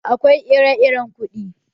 Akwai ire-iren kuɗi.